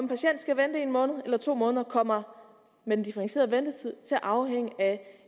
patient skal vente en måned eller to måneder kommer med den differentierede ventetid til at afhænge af